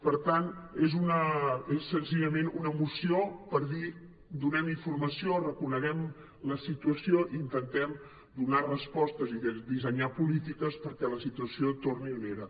per tant és senzillament una moció per dir donem informació reconeguem la situació intentem donar respostes i dissenyar polítiques perquè la situació torni on era